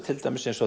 til dæmis